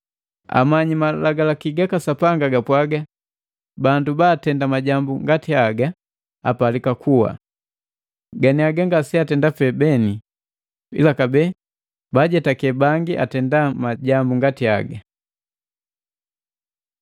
Amanyi malagalaki gaka Sapanga gapwaga bandu baatenda majambu ngati haga, apalika kuwa. Ganiaga ngase atenda pee beni ila kabee baajetake bangi baatenda majambu ngati haga.